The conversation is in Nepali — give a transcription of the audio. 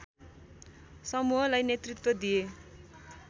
समूहलाई नेतृत्व दिए